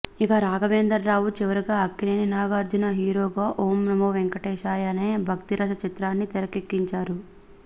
ఇక రాఘవేంద్రరావు చివరిగా అక్కినేని నాగార్జున హీరోగా ఓం నమో వెంకటేశాయ అనే భక్తీరస చిత్రాన్ని తెరకెక్కించారు